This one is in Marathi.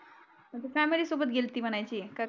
अन तू सामारी सोबत गेलती म्हणायची कर